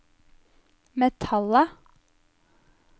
metallet